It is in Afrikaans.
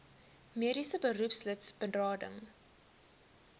mediese beroepslid berading